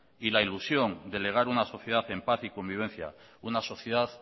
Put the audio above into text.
y la ilusión de legar una sociedad en paz y convivencia una sociedad